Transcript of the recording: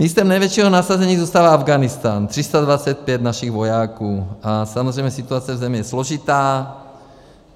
Místem největšího nasazení zůstává Afghánistán - 325 našich vojáků, a samozřejmě situace v zemi je složitá.